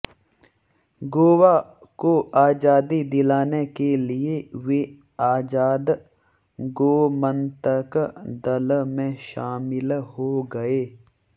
गोवा को आज़ादी दिलाने के लिए वे आज़ाद गोमन्तक दल में शामिल हो गए